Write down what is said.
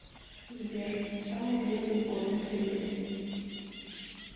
сбер самый длинный горный хребет